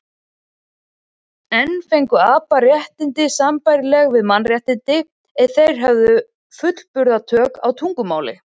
En fengju apar réttindi sambærileg við mannréttindi ef þeir hefðu fullburða tök á tungumáli?